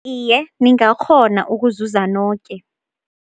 Iye, ningakghona ukuzuza noke.